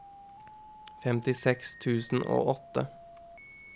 femtiseks tusen og åtte